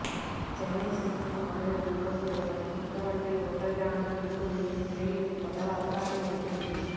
சென்னை சிறுமி பாலியல் வன்கொடுமை வழக்கில் குற்றவாளிகள் ஒன்றரை ஆண்டுகளுக்கும் மேல் சிறையில் இருப்பதால் அபராதம் ஏதுமில்லை